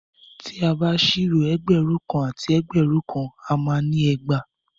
Tí a bá ṣírò ẹgbẹ̀rún kan àti ẹgbẹ̀rún kan a má ni ẹgbàá.